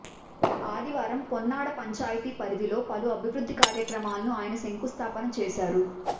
ఆదివారం పొన్నాడ పంచాయతీ పరిధిలో పలు అభివృద్ధి కార్యక్రమాలకు అయన శంకుస్థాపన చేశారు